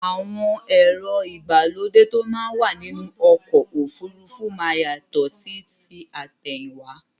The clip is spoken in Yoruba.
Àwọn èrò igbálódẹ̀ tó mà wà nínu ọ̀kọ̀ ofúrúfú má yátọ̀ sí tí atẹ̀hìnwa